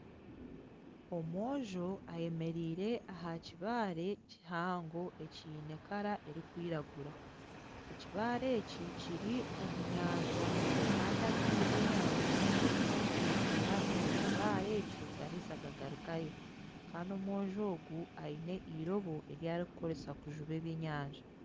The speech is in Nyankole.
Omwojo ayemereire ahakibare kihango ekine Kara erukwiragura , ekibare eki kiri omunyanja Kandi amaizi g'enyanja nigaguma nigetera ahakibare ekyo gaheza gagarukayo Kandi omwojo ogu aine irobo eri arikukozesa kujuba eby'enyanja.